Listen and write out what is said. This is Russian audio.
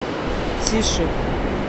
тише